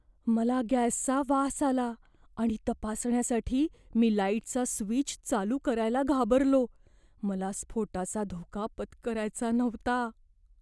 मला गॅसचा वास आला आणि तपासण्यासाठी मी लाईटचा स्विच चालू करायला घाबरलो. मला स्फोटाचा धोका पत्करायचा नव्हता.